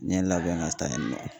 N ye n labɛn ka taa yen nɔ